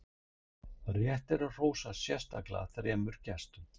Rétt er að hrósa sérstaklega þremur gestum.